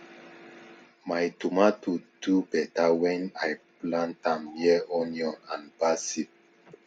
my tomato do better when i plant am near onion and basil